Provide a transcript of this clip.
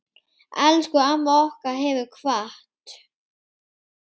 Elsku amma okkar hefur kvatt.